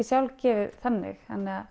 sjálfgefin þannig að